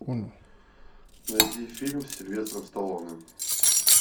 найди фильм с сильвестром сталлоне